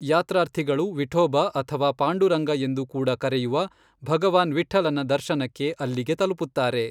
ಯಾತ್ರಾರ್ಥಿಗಳು ವಿಠೋಬ ಅಥವಾ ಪಾಂಡುರಂಗ ಎಂದು ಕೂಡ ಕರೆಯುವ ಭಗವಾನ್ ವಿಠ್ಠಲನ ದರ್ಶನಕ್ಕೆ ಅಲ್ಲಿಗೆ ತಲುಪುತ್ತಾರೆ.